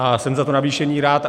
A jsem za to navýšení rád.